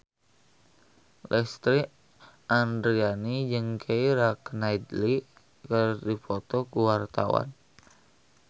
Lesti Andryani jeung Keira Knightley keur dipoto ku wartawan